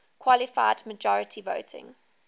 qualified majority voting